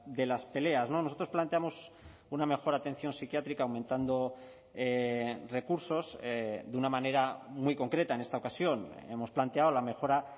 de las peleas no nosotros planteamos una mejor atención psiquiátrica aumentando recursos de una manera muy concreta en esta ocasión hemos planteado la mejora